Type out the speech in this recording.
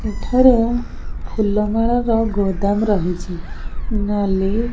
ଏଠାରେ ଫୁଲ ମାଳର ଗୋଦାମ ରହିଛି ନାଲି --